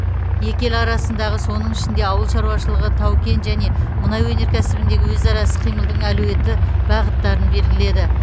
екі ел арасындағы соның ішінде ауыл шаруашылығы тау кен және мұнай өнеркәсібіндегі өзара іс қимылдың әлеуеті бағыттарын белгіледі